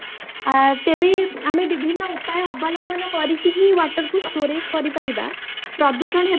ଅଂ ତେବେ ଆମେ ବିଭିନ୍ନ ଉପାୟ ଅବଲମ୍ବନ କରିକି ହିଁ water କୁ storage କରି ପାରିବା, ପ୍ରଦୂଷଣ ହେବା